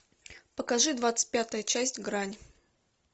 покажи двадцать пятая часть грань